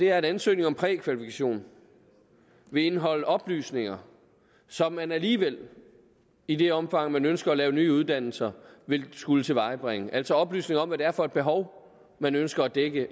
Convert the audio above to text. at ansøgning om prækvalifikation vil indeholde oplysninger som man alligevel i det omfang man ønsker at lave nye uddannelser vil skulle tilvejebringe altså oplysninger om hvad det er for et behov man ønsker at dække